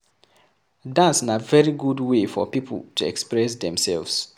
Dance na very good wey for pipo to express themselves